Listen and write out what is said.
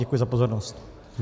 Děkuji za pozornost.